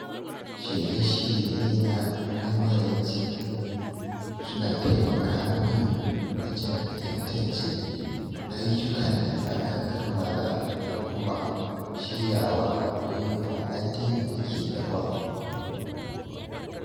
Shirye-shiryena na maraice suna taimaka min wajen tantance ayyukan da aka kammala da kuma shiryawa don wa’adin da ke gaba.